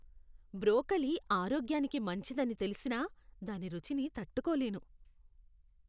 Broccoli ఆరోగ్యానికి మంచిదని తెలిసినా దాని రుచిని తట్టుకోలేను.